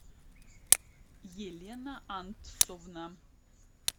елена антсовна